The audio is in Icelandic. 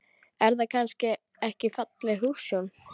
Er það kannski ekki falleg hugsjón?